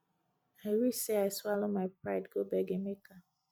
i wish say i swallow my pride go beg emeka